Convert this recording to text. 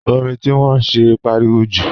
Orin tí wọ́n ń ṣe ń pariwo jù